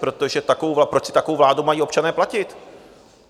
Protože proč si takovou vládu mají občané platit?